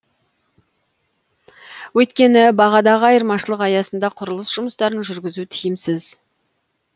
өйткені бағадағы айырмашылық аясында құрылыс жұмыстарын жүргізу тиімсіз